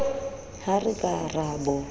ha re ka ra bo